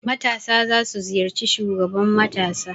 Matasa za su ziyarci shugaban matasa.